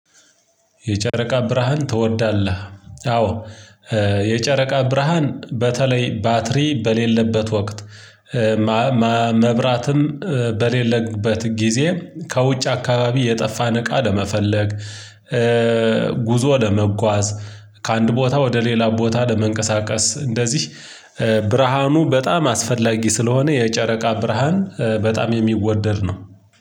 የጨረቃ ብርሃን ትወዳለህ? አዎ የጨረቃ ብርሃን በተለይ ባትሪ በሌለበት ወቅት። መብራትም በሌለበት ጊዜ ከውጭ አካባቢ የጠፋን እቃ ለመፈለግ። ጉዞ ለመጓዝ ከአንድ ቦታ ወደ ሌላ ቦታ ለመንቀሳቀስ እንደዚህ ብርሃኑ በጣም አስፈላጊ ስለሆነ የጨረቃ ብርሃን በጣም የሚወደድ ነው።